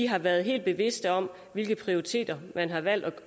har været helt bevidste om hvilke prioriteter man har valgt at